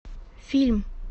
фильм